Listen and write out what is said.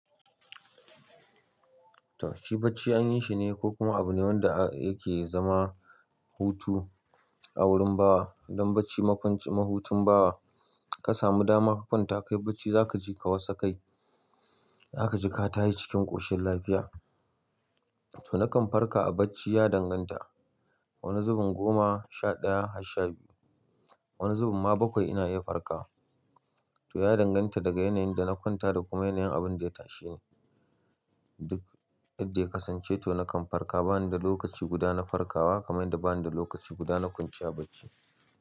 Toh shi bacci an yi shi ne ko kuma abu ne wanda yake zama hutu a wurin bawa. Don bacci makwanci, mahutin bawa ka samu dama ka kwanta, ka yi bacci za ka ji ka wasa kai, za ka ji ka tashi cikin ƙoshin lafiya. To na kan farka a bacci ya danganta. Wani zubin goma sha ɗaya har sha biyu, wani zubin ma bakwai ina iya farka. To ya danganta daga yanayin da na kwanta da kuma yanayin abin da ya tashe ni. Duk idan ya kasance to na kan farka bana da lokaci guda na farkawa kamar yadda bana da lokaci guda na kwanciya bacci.